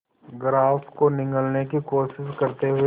grass को निगलने की कोशिश करते हुए